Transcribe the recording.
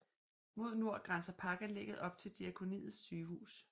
Mod nord grænser parkanlægget op til Diakoniets sygehus